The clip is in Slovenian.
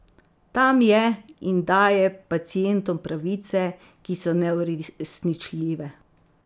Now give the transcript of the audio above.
Tam je in daje pacientom pravice, ki so neuresničljive.